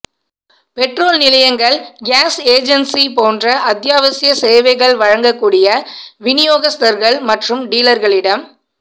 petrol நிலையங்கள் gas agency போன்ற அத்தியாவசிய சேவைகள் வழங்கக் கூடிய வினியோகஸ்தர்கள் மற்றும் டீலர்களிடம்